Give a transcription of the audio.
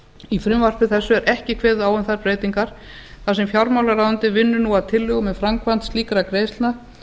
í frumvarpi þessu er ekki kveðið á um þær breytingar þar sem fjármálaráðuneytið vinnur nú að tillögum um framkvæmd slíkra greiðslna